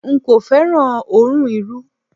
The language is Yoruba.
N kò féràn òórùn Irú.